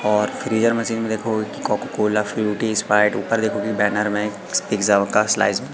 और freezer machine में देखोगे की कोका कोला फ्रूटी स्प्राइट ऊपर देखोगे बैनर में पिज़्ज़ाओंका स्लाइस --